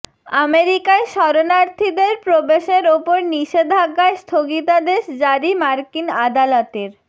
আমেরিকায় শরণার্থীদের প্রবেশের ওপর নিষেধাজ্ঞায় স্থগিতাদেশ জারি মার্কিন আদালতের